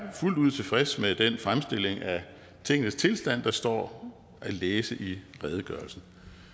er fuldt ud tilfreds med den fremstilling af tingenes tilstand der står at læse i redegørelsen